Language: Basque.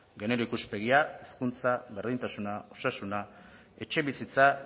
genero ikuspegia hizkuntza berdintasuna osasuna etxebizitza